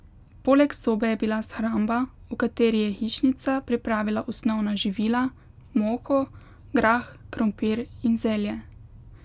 Poleg sobe je bila shramba, v kateri je hišnica pripravila osnovna živila, moko, grah, krompir in zelje.